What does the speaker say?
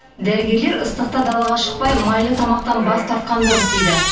дәрігерлер ыстықта далаға шықпай майлы тамақтан бас тартқан дұрыс дейді